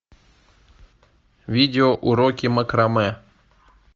видео уроки макраме